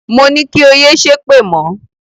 Moní kí o yé ṣépè mọ̀!